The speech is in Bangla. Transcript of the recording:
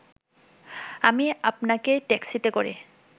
আমি আপনাকে ট্যাক্সিতে করে